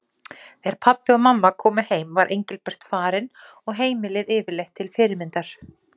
Þegar pabbi og mamma komu heim var Engilbert farinn og heimilið yfirleitt til fyrirmyndar.